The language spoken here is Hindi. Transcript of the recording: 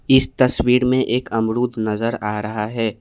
इस तस्वीर में एक अमरूद नजर आ रहा है।